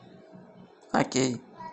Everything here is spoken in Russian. окей